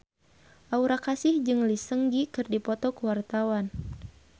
Aura Kasih jeung Lee Seung Gi keur dipoto ku wartawan